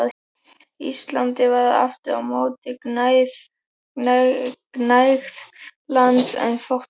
Íslandi var aftur á móti gnægð lands en fátt fólk.